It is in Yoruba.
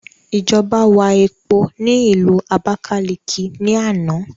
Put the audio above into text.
Ìjọba wà epo ni ilu Abákáliki ni àná